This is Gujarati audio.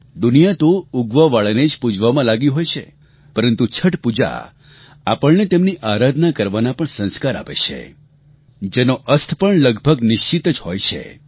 દુનિયા તો ઉગવાવાળાને જ પૂજવામાં લાગી હોય છે પરંતુ છઠ પૂજા આપણને તેમની આરાધના કરવાના પણ સંસ્કાર આપે છે જેનો અસ્ત પણ લગભગ નિશ્ચિત જ હોય છે